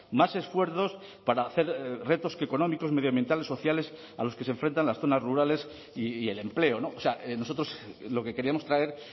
más esfuerzos para hacer retos económicos medioambientales sociales a los que se enfrentan las zonas rurales y el empleo o sea nosotros lo que queríamos traer